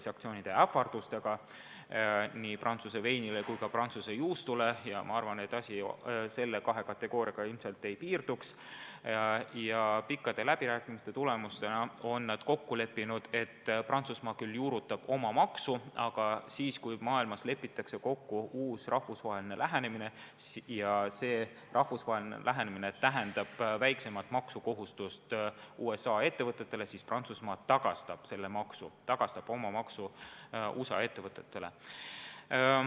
Ta on ähvardanud kehtestada sanktsioonid nii Prantsuse veinile kui ka Prantsuse juustule – ma arvan, et asi nende kahe kategooriaga ilmselt ei piirduks – ja pikkade läbirääkimiste tulemusena on nad kokku leppinud lahenduses, et Prantsusmaa küll juurutab oma maksu, aga kui maailmas lepitakse kokku uus rahvusvaheline lahendus – ja see rahvusvaheline lahendus tähendab väiksemat maksukohustust USA ettevõtetele –, siis Prantsusmaa maksab selle maksuraha USA ettevõtetele tagasi.